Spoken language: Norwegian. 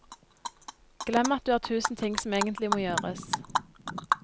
Glem at du har tusen ting som egentlig må gjøres.